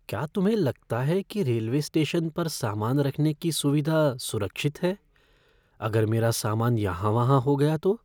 क्या तुम्हें लगता है कि रेलवे स्टेशन पर सामान रखने की सुविधा सुरक्षित है? अगर मेरा सामान यहाँ वहाँ हो गया तो?